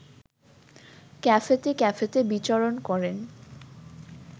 ক্যাফেতে ক্যাফেতে বিচরণ করেন